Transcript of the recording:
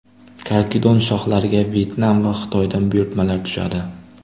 Karkidon shoxlariga Vyetnam va Xitoydan buyurtmalar tushadi.